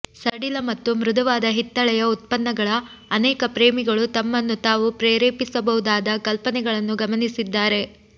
ಸಡಿಲ ಮತ್ತು ಮೃದುವಾದ ಹಿತ್ತಾಳೆಯ ಉತ್ಪನ್ನಗಳ ಅನೇಕ ಪ್ರೇಮಿಗಳು ತಮ್ಮನ್ನು ತಾವು ಪ್ರೇರೇಪಿಸಬಹುದಾದ ಕಲ್ಪನೆಗಳನ್ನು ಗಮನಿಸಿದ್ದಾರೆ